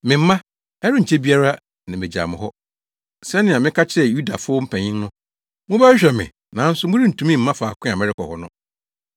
“Me mma, ɛrenkyɛ biara na megyaw mo hɔ. Sɛnea meka kyerɛɛ Yudafo mpanyin no, mobɛhwehwɛ me nanso morentumi mma faako a merekɔ hɔ no.